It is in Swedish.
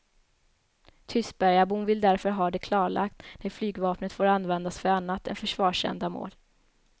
Tystbergabon vill därför ha det klarlagt när flygvapnet får användas för annat än försvarsändamål.